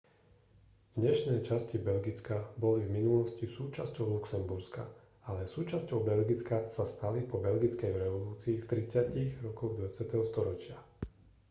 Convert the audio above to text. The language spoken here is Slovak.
dnešné časti belgicka boli v minulosti súčasťou luxemburska ale súčasťou belgicka sa stali po belgickej revolúcii v 30-tych rokoch 20. storočia